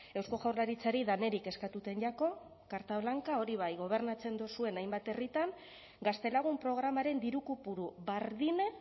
eusko jaurlaritzari danerik eskatuten jako carta blanca hori bai gobernatzen dozuen hainbat herritan gaztelagun programaren diru kopuru bardine